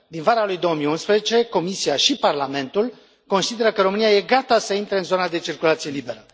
Din vara lui 2011, Comisia și Parlamentul consideră că România e gata să între în zona de circulație liberă.